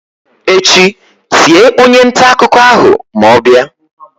echi tie onye nta akuko ahu ma o bia!